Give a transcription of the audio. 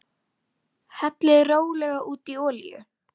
Hellið rólega út í olíu.